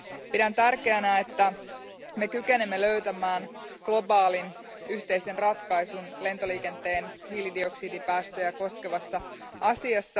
Pidän tärkeänä, että me kykenemme löytämään globaalin, yhteisen ratkaisun lentoliikenteen hiilidioksidipäästöjä koskevaan asiaan.